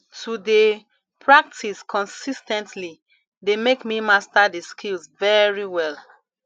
to de practice consis ten tly de make me master di skills very well